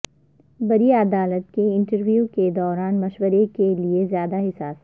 پری عدالت کے انٹرویو کے دوران مشورہ کے لئے زیادہ حساس